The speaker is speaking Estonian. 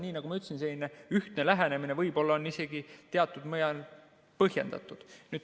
Nii nagu ma ütlesin, selline ühtne lähenemine võib-olla on isegi teatud määral põhjendatud.